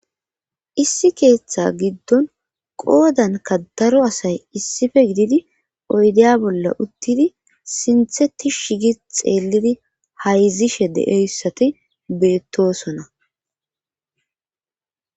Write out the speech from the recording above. issi keeththa giddon qoodanka daro asay issife gididi oydeya bolla uttidi sintheti shigi xeellidi hayzishe de7eyssati beettosona